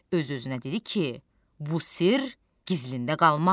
Öz-özünə dedi ki: "Bu sirr gizlində qalmaz.